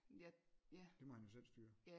Det må han jo selv styre